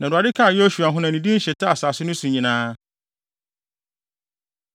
Na Awurade kaa Yosua ho na ne din hyetaa asase no so nyinaa.